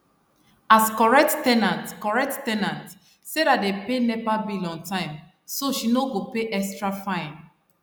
as correct ten ant correct ten ant sarah dey pay nepa bill on time so she no go pay extra fine